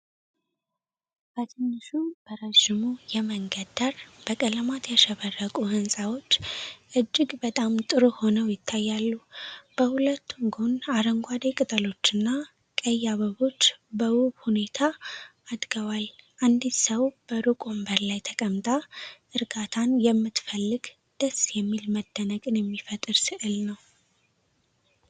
በትንሹ በረዥሙ የመንገድ ዳር፣ በቀለማት ያሸበረቁ ሕንፃዎች እጅግ በጣም ጥሩ ሆነው ይታያሉ። በሁለቱም ጎን አረንጓዴ ቅጠሎችና ቀይ አበቦች በውብ ሁኔታ አድገዋል። አንዲት ሰው በሩቅ ወንበር ላይ ተቀምጣ እርጋታን የምትፈልግ ደስ የሚል መደነቅን የሚፈጥር ስዕል ነው።